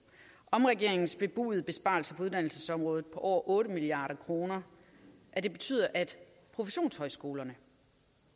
om regeringens bebudede besparelser på uddannelsesområdet på over otte milliard kr at det betyder at professionshøjskolerne